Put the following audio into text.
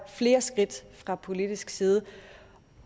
flere skridt fra politisk side